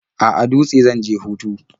A'a, Dutse zan je hutu.